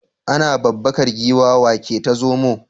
Ana babbakar giwa wa ke ta zomo?